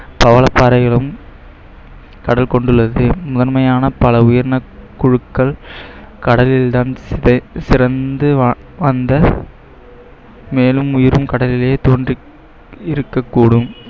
பவளப்பாறைகளும் கடல் கொண்டுள்ளது முதன்மையான பல உயிரின குழுக்கள் கடலில்தான் சிறந்து வ~ வந்த மேலும் உயிரும் கடலிலே தோன்றி இருக்கக்கூடும்